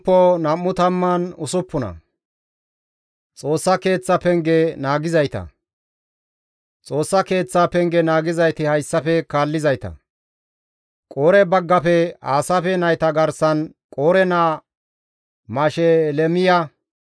Xoossa Keeththaa penge naagizayti hayssafe kaallizayta. Qoore baggafe Aasaafe nayta garsan Qoore naa Mashelemiya.